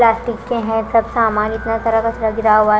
plastic के हैं सब सामान इतना सारा कचरा गिरा हुआ--